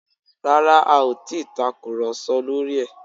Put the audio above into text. Rárá, a ò ti ì tàkùrọ̀sọ lórí ẹ̀